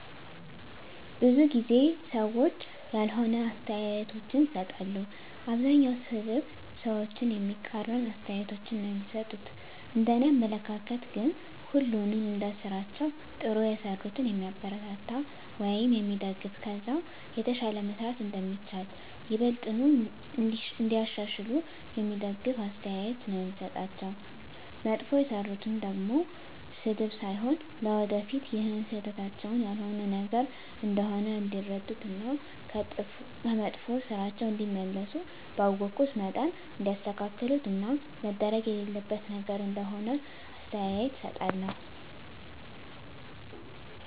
ብዙ ጊዜ ሰዎች ያልሆነ አስተያየቶችን ይሰጣሉ። አብዛኛዉ ሰድብ፣ ሰዎችን የሚቃረን አስተያየቶች ነዉ እሚሰጡት፤ እንደኔ አመለካከት ግን ሁሉንም እንደስራቸዉ ጥሩ የሰሩትን የሚያበረታታ ወይም የሚደገፍ ከዛ የተሻለ መስራት እንደሚቻል፣ ይበልጥኑ እንዲያሻሽሉ የሚደግፍ አስተያየት ነዉ የምሰጣቸዉ፣ መጥፎ የሰሩትን ደሞ ስድብ ሳይሆን ለወደፊት ይሀን ስህተታቸዉን ያልሆነ ነገር እንደሆነ እንዲረዱት እና ከመጥፋ ስራቸዉ እንዲመለሱ ባወኩት መጠን እንዲያስተካክሉት እና መደረግ የሌለበት ነገር እንደሆነ አስተያየት እሰጣቸዋለሁ።